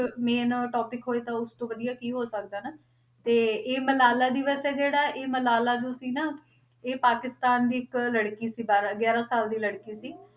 Main topic ਹੋਏ ਤਾਂ ਉਸ ਤੋਂ ਵਧੀਆ ਕੀ ਹੋ ਸਕਦਾ ਹਨਾ, ਤੇ ਇਹ ਮਲਾਲਾ ਦਿਵਸ ਹੈ ਇਹ ਮਲਾਲਾ ਜੋ ਸੀ ਨਾ ਇਹ ਪਾਕਿਸਤਾਨ ਦੀ ਇੱਕ ਲੜਕੀ ਸੀ ਬਾਰਾਂ ਗਿਆਰਾਂ ਸਾਲ ਦੀ ਲੜਕੀ ਸੀ,